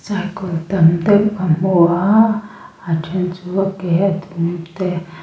cycle tam deuh ka hmu a a then chu a ke a dum te--